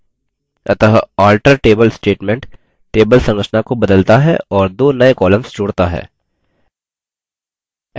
अतः alter table statement table संरचना को बदलता है और दो नये columns जोड़ता है: